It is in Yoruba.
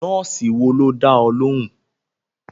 Nọ́ọ̀sì wo ló dá ọ lóhùn?